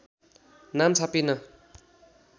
नाम छापिन